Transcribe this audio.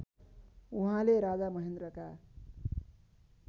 उहाँले राजा महेन्द्रका